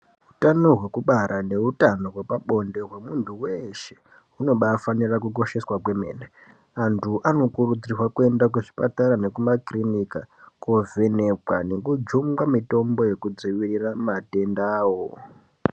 Hutano hwekubara nehutano wepabonde, wemuntu weshe unobafanira kukosheswa kwemene. Antu anokurudzirwa kuenda kuzvipatara nekumakirinika kovhenekwa nekujungwa mitombo yekudzivirira matenda awo.